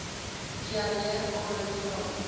diarree aanhou vra